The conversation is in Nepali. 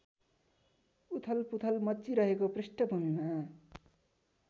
उथलपुथल मच्चिरहेको पृष्ठभूमिमा